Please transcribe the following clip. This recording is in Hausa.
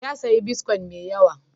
Ya sayi bitcoin mai yawa.